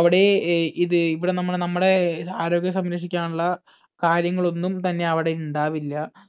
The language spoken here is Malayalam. അവിടെ അഹ് ഇത് ഇവിടെ നമ്മ നമ്മടെ ആരോഗ്യം സംരക്ഷിക്കാനുള്ള കാര്യങ്ങൾ ഒന്നും തന്നെ അവിടെ ഇണ്ടാവില്ല